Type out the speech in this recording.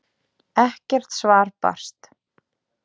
Ekkert svar barst.